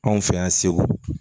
Anw fɛ yan segu